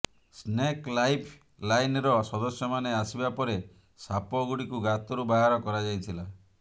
snake life ଲାଇନ୍ର ସଦସ୍ୟମାନେ ଆସିବା ପରେ ସାପଗୁଡ଼ିକୁ ଗାତରୁ ବାହାର କରାଯାଇଥିଲା